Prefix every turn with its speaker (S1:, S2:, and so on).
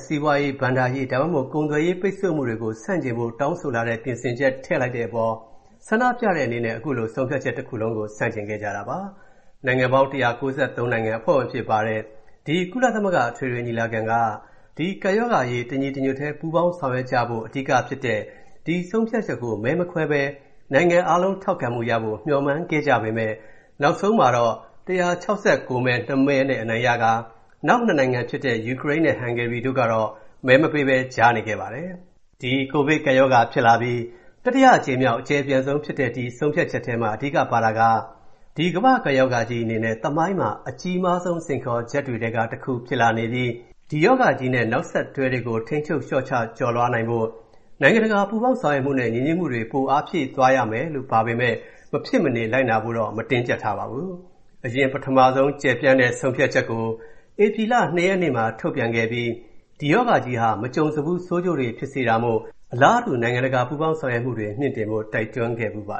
S1: စီးပွားရေး၊ ဘဏ္ဍာရေး ဒါမှမဟုတ် ကုန်သွယ်ရေး ဒဏ်ခတ်ပိတ်ဆို့မှုတွေကို ဆန့်ကျင်တဲ့အချက်ကို ထည့်သွင်းလိုက်တဲ့အပေါ် ကန့်ကွက်တဲ့အနေနဲ့ အမေရိကန်နဲ့ အစ္စရေးလ်တို့က ကန့်ကွက်မဲ ပေးခဲ့ကြတာပါ။ နိုင်ငံပေါင်း ၁၉၃ နိုင်ငံ အဖွဲ့ဝင်အဖြစ်ပါဝင်တဲ့ ကုလသမဂ္ဂ အထွေထွေညီလာခံက ကိုဗစ်ကပ်ရောဂါအရေး တညီတညွတ်တည်း ပူးပေါင်းဆောင်ရွက်ကြဖို့ အဓိကဖြစ်တဲ့ ဒီဆုံးဖြတ်ချက်ကို မဲမခွဲဘဲ နိုင်ငံအားလုံး ထောက်ခံမှုရဖို့ မျှော်မှန်းခဲ့ကြပေမယ့် နောက်ဆုံး ၁၆၉ မဲ၊ ၂ မဲနဲ့ အတည်ပြုခဲ့ပြီးနောက် ၂ နိုင်ငံဖြစ်တဲ့ ယူကရိန်းနဲ့ ဟန်ဂေရီတို့ကတော့ မဲမပေးဘဲ ကြားနေခဲ့ပါတယ်။ ဒီကပ်ရောဂါဖြစ်လာပြီး တတိယအကြိမ်မြောက် အကျယ်ပြန့်ဆုံးဖြစ်တဲ့ ဒီဆုံးဖြတ်ချက်ထဲမှာ အဓိကပါတာက ကမ္ဘာ့ကပ်ရောဂါကြီးအနေနဲ့ သမိုင်းမှာ အကြီးမားဆုံး စိန်ခေါ်ချက်တွေထဲက တခုဖြစ်လာပြီး ဒီရောဂါကြီးနဲ့ နောက်ဆက်တွဲတွေကို ထိန်းချုပ် လျှော့ချ ကျော်လွှားသွားနိုင်ဖို့ နိုင်ငံတကာ ပူးပေါင်းဆောင်ရွက်မှုနဲ့ ညီညွတ်မှုတွေကို ပိုအားဖြည့်သွားရမယ်လို့ ပါရှိပါတယ်။ ဒါပေမယ့် အဖွဲ့နိုင်ငံတွေအနေနဲ့ မဖြစ်မနေ လိုက်နာလုပ်ဆောင်ရမှာတော့ မဟုတ်ပါဘူး။ အရင် ပထမတကြိမ်က ကျယ်ပြန့်တဲ့ ကြေညာချက်ကို ဧပြီလ ၂ ရက်နေ့မှာ ထုတ်ပြန်ခဲ့ပြီး ဒီရောဂါကြီးဟာ မကြုံစဘူး ဆိုးကျိုးတွေဖြစ်စေတာမို့ အလားတူ နိုင်ငံတကာ ပူးပေါင်းဆောင်ရွက်မှုတွေ မြှင့်တင်ဖိ
S2: ု့ တိုက်တွန်းခဲ့ဖူးပါ